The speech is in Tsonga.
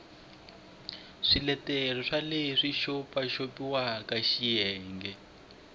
swiletelo swa leswi xopaxopiwaka xiyenge